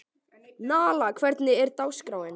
Nala, hvernig er dagskráin?